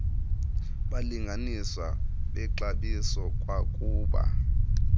balinganiswa bexabiso kwakuba